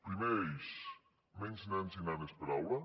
primer eix menys nens i nenes per aula